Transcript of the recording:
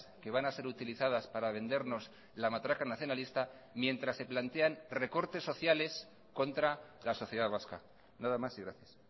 que van a ser utilizadas para vendernos la matraca nacionalista mientras se plantean recortes sociales contra la sociedad vasca nada más y gracias